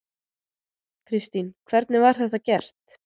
Kristín: Hvernig var þetta gert.